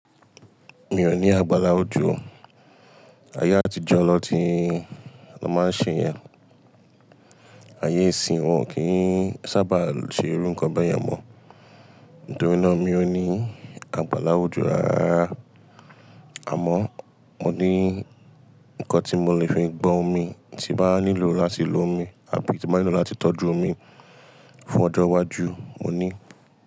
Mi ò ní agbála ojo o. Ayé àtijọ́ lọ tí n na máa ń ṣe yẹn. Ayé ìsìnyi wọn kì í sábà ṣe irú nǹkan bẹ́yẹ̀n mọ́. Nítorí náà mi ò ní agbála ojo rárárara. Àmọ́ mo ní nǹkan tí mo lè fi gbọn omi tí n bá nílò láti lo omi àbí tí n bá nílò láti tọ́jú omi fún ọjọ́ iwájú mo ní.